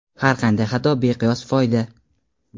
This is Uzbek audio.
Har qanday xato — beqiyos foyda!.